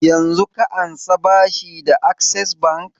Yanzun ka ansa bashi da access bank?